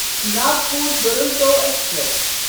Nagpur Duronto express